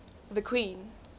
the queen